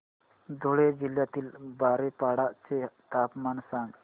धुळे जिल्ह्यातील बारीपाडा चे तापमान सांग